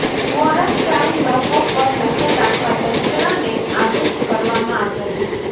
quarantine લોકો પર નજર રાખવા તંત્રને આદેશ કરવામાં આવ્યા છે